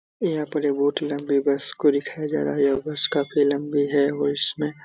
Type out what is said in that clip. यहाँ पर एक बहुत लम्बी बस को दिखाया जा रहा है यह बस काफी लम्बी है और इसमें --